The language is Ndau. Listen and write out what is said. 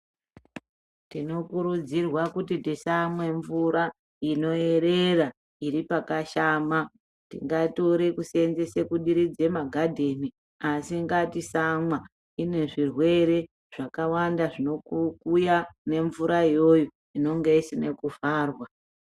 Tinokurudzirwa kuti tisamwa mvura inoerera iri pakashama ngatitore kusevenzesa kudiridza magadheni asingatisamwa ine zvirwere zvakawanda zvinouya ngemvura iyoyo inenge isina kuvharwa.